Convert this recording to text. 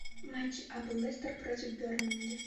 матч апл лестер против бернли